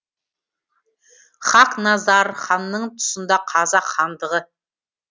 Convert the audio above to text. хақназар ханның тұсында қазақ хандығы